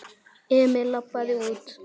Emil labbaði út.